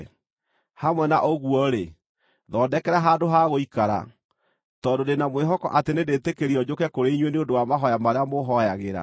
Hamwe na ũguo-rĩ, thondekera handũ ha gũikara, tondũ ndĩ na mwĩhoko atĩ nĩndĩtĩkĩrio njũke kũrĩ inyuĩ nĩ ũndũ wa mahooya marĩa mũhooyagĩra.